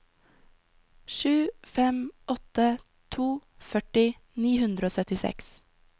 sju fem åtte to førti ni hundre og syttiseks